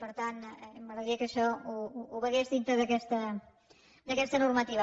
per tant m’agradaria que això ho veiés dintre d’aquesta normativa